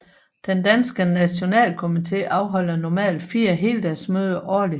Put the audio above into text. Den danske nationalkomitee afholder normalt 4 heldagsmøder årligt